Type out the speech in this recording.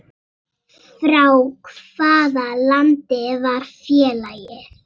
Frá hvaða landi var félagið?